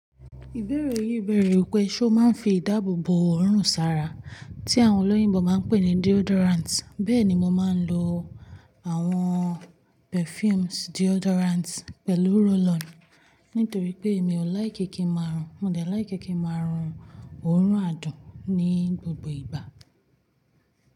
Ìbéèrè yìí bèèrè pé, ṣé o máa ń fi ìdáàbòbò òórùn sára tí àwọn olóyìnbo máa ń pè ní deodorant? Bẹ́ẹ̀ni, mo máa ń lo àwọn perfumes deodorant pẹ̀lú roll-on nítorí pé mi ò like kí ń máa rùn. Mo de like kí ń máa rùn òórùn adùn ní gbogbo ìgbà.